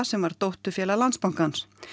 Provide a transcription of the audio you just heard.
sem var dótturfélag Landsbankans